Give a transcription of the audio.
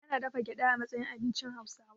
Ana dafa gyaɗa a matsayin abincin Hauwasa.